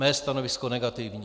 Mé stanovisko negativní.